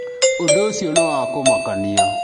ũndũ ũcio nĩ wa kũmakanĩa.